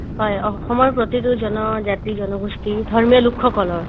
হয়, অসমৰ প্ৰতিতো জনজাতি জনগোষ্ঠি ধৰ্মীয় লোকসকলৰ